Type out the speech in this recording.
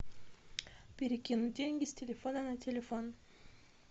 перекинуть деньги с телефона на телефон